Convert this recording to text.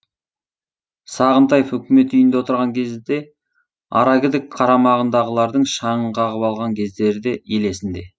сағынтаев үкімет үйінде отырған кезде арагідік қарамағындағылардың шаңын қағып алған кездері де ел есінде